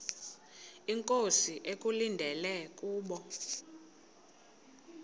inkosi ekulindele kubo